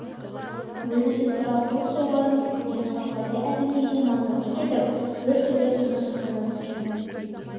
өзі де сұрапыл соғарын сезген шағаладай әлденеге мазасы кетіп біртүрлі тынышсыздана түскен